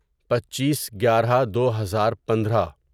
پچیس گیارہ دو ہزار پندرہ